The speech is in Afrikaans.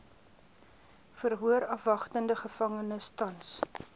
verhoorafwagtende gevangenes tans